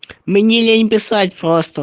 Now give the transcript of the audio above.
мне лень писать просто